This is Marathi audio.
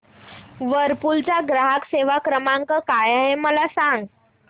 व्हर्लपूल चा ग्राहक सेवा क्रमांक काय आहे मला सांग